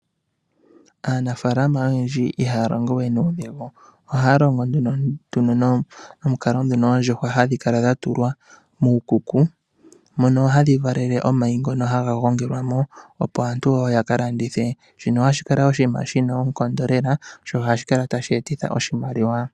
Aanafalama oyendji ihaya longo we nuudhigu. Ohaya longo nduno nomukalo ngono oondjuhwa hadhi kala dha tulwa muukuku mono hadhi valele omayi ngono haga gongelwa mo opo aantu wo ya ka landithe. Shino ohashi kala oshinima shina oonkondo lela, sho ohashi kala tashi etitha oshimaliwa.